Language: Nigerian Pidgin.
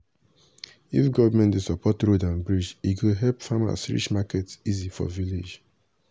if government dey support road and bridge e go help farmers reach market easy for village.